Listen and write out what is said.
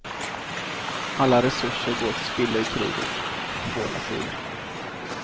Alla resurser går till spillo i kriget, på båda sidor.